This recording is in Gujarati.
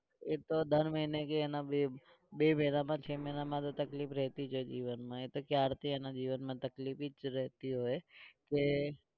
એતો દર મહિને કે એના બે બે મહિનામાં છ મહિનામાં તો તકલીફ રહેતી હોય જીવનમાં એતો ક્યારથી એના જીવનમાં તકલીફી જ રહેતી હોય. કે